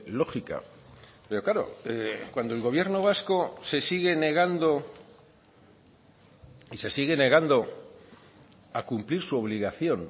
lógica pero claro cuando el gobierno vasco se sigue negando y se sigue negando a cumplir su obligación